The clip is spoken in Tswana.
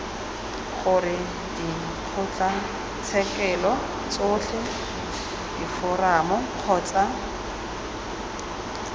gore dikgotlatshekelo tsotlhe diforamo kgotsa